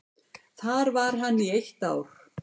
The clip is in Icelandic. Þar var hann í eitt ár.